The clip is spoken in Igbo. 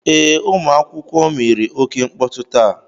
Ee, ụmụ akwụkwọ mere oke mkpọtụ taa.